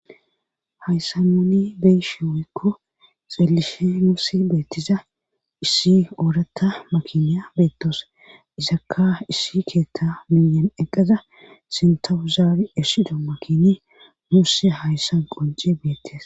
Hayssa noni beyishi woykko xilishe noossi beettiza issi ooratta makiniya beettos izakka issi keetta miyan eqqeza sintawuzaabi ersido makini muusse hayssan qonce beettes.